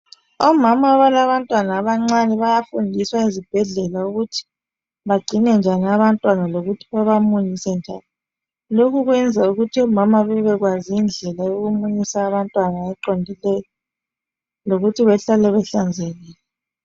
Omama abalabantwana abancane bayafundiswa ezibhedlela ukuthi bagcine njani abantwana lokuthi baba munyise njani, lokhu kwenza ukuthi omama bebekwazi indlela yokumunyisa abantwana eqondileyo lokuthi behlale behlanzekile.